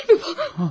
Həqiqətənmi bu?